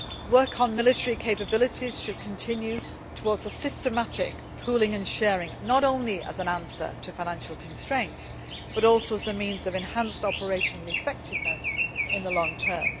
place. Work on military capabilities should continue towards a systematic pooling and sharing, not only as an answer to financial constraints but also as means of enhanced operational effectiveness in the long